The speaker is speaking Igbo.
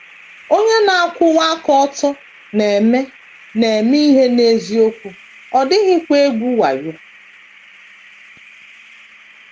Onye na - akwụwa aka ọtọ na - eme na - eme ihe n’eziokwu, ọ dịghịkwa egwu wayo.